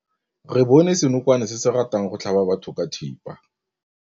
Re bone senokwane se se ratang go tlhaba batho ka thipa.